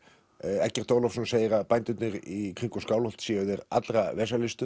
Eggert Ólafsson segir að bændurnir í kringum Skálholt séu þeir allra